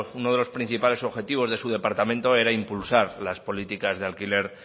uno de los principales objetivos de su departamento era impulsar las políticas de alquiler